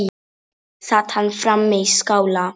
Sat hann frammi í skála.